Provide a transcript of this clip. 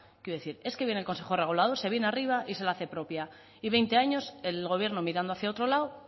quiero decir es que viene el consejo regulador se viene arriba y se la hace propia y veinte años el gobierno mirando hacia otro lado